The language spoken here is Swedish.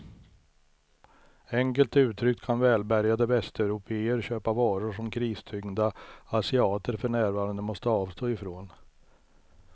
Enkelt uttryckt kan välbärgade västeuropéer köpa varor som kristyngda asiater för närvarande måste avstå ifrån.